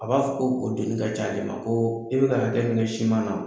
A b'a fɔ ko donni ka ca ale ma ko i bɛ na bɛ kɛ ne siman